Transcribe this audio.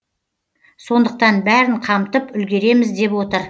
сондықтан бәрін қамтып үлгереміз деп отыр